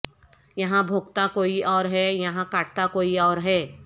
یہاں بھونکتا کوئی اور ہے یہاں کاٹتا کوئی اور ہے